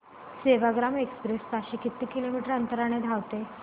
Sevagram express ताशी किती kilometre अंतराने धावते